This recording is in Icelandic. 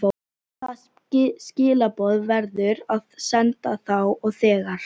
Hvaða skilaboð verður að senda þá og þegar?